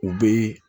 U bɛ